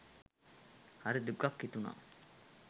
හරි දුකක් හිතුනා.